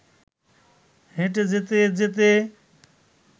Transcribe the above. হেঁটে যেতে যেতে